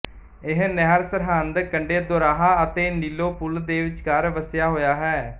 ਇਹ ਨਹਿਰ ਸਰਹਿੰਦ ਕੰਢੇ ਦੋਰਾਹਾ ਅਤੇ ਨੀਲੋਂ ਪੁਲ ਦੇ ਵਿਚਕਾਰ ਵਸਿਆ ਹੋਇਆ ਹੈ